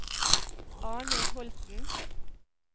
Arnhild Holten